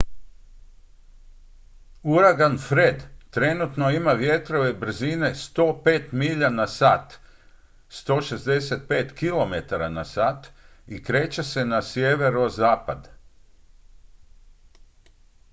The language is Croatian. uragan fred trenutno ima vjetrove brzine 105 milja na sat 165 km/h i kreće se na sjeverozapad